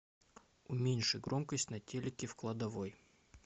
уменьши громкость на телике в кладовой